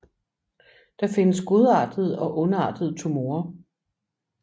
Det findes godartede og ondartede tumorer